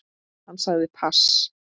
Hann sagði pass.